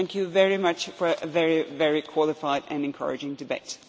for it. Thank you very much for a very qualified and encouraging debate.